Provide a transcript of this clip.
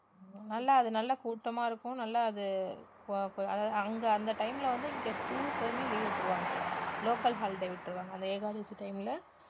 நல்லா அது நல்லா கூட்டமா இருக்கும் நல்லா அது ப~ ப~ அதாவது அங்க அந்த time ல வந்து இங்க schools ஏ leave விட்டுருவாங்க local holiday விட்டுருவாங்க அந்த ஏகாதசி time ல